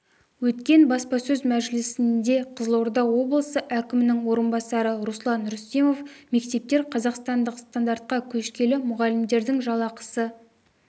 өткен баспасөз мәжілісінде қызылорда облысы әкімінің орынбасары руслан рүстемов мектептер қазақстандық стандартқа көшкелі мұғалімдердің жалақысы